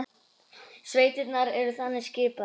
Sveitirnar eru þannig skipaðar